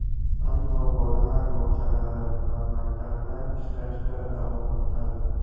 Ammo bolalar bog‘chalari va maktablar ishlashda davom etadi.